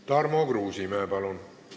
Tarmo Kruusimäe, palun!